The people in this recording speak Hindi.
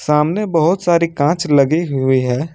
सामने बहोत सारी कांच लगी हुई हैं।